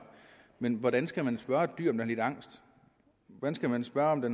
men hvordan skal man spørge et dyr om det har lidt angst hvordan skal man spørge om det